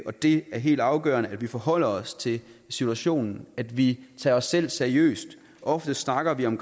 det er helt afgørende at vi forholder os til situationen at vi tager os selv seriøst ofte snakker vi om